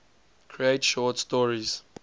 create short stories